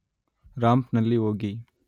ರಾಂಪ್‌ನಲ್ಲಿ ಹೋಗಿ